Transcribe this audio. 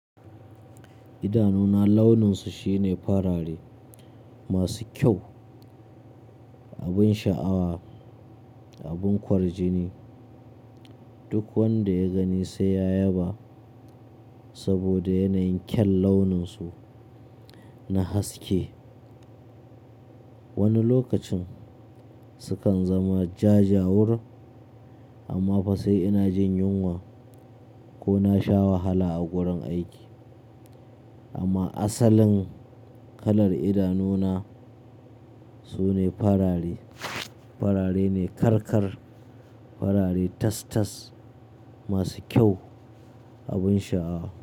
Idanuna launin su shine farare masu kyau abun sha'awa, abun kwarjini. Duk wanda ya gani sai ya yaba saboda yanayin kyaun launin su na haske. Wani lokacin sukan zama jajawur amma fa sai ina jin yunwa ko na sha wahala a gurin aiki. Amma asalin kalar idanu na sune farare. Farare ne karkar, farare tas-tas masu kyau, abin sha'awa.